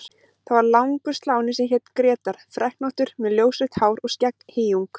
Það var langur sláni sem hét Grétar, freknóttur með ljósrautt hár og skegghýjung.